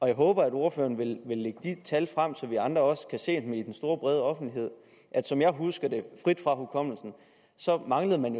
jeg håber at ordføreren vil lægge de tal frem så vi andre også kan se dem i den store brede offentlighed som jeg husker det frit fra hukommelsen så manglede man